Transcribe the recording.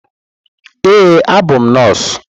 Ee, abụ m nọọsụ.